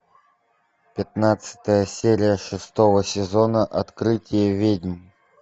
пятнадцатая серия шестого сезона открытие ведьм